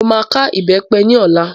Mo máa ká ìbẹ́pẹ ní ọlá.